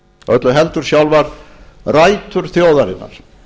öllu heldur sjálfar rætur þjóðarinnar